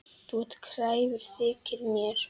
Þú ert kræfur, þykir mér.